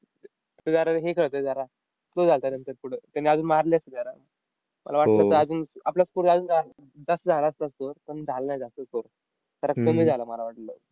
तो जरा हे करतोय जरा. slow झालता नंतर पुढं. त्याने अजून मारली असती जरा. मला वाटलं, अजून आपला score अजून जा जास्त झाला असता score, पण झाला नाही जास्त score. जरा कमी झाला मला वाटलं.